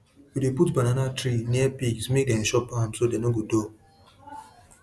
we dey put banana tree near pig make dem chop am so dem no go dull